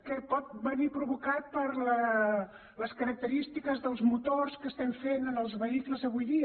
que pot venir provocat per les característiques dels motors que estem fent en els vehicles avui